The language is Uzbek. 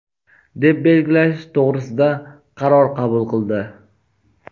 deb belgilash to‘g‘risida qaror qabul qildi.